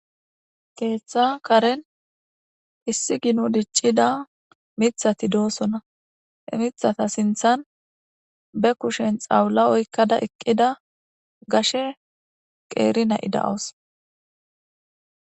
Keetha karen issi gino diccida mithati doosona. He mithata sinthan be kushen xawla oykkada eqqida gashe qeeri na7i dawus.